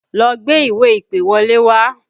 Lọ gbé ìwé-ìpèwọlé wá!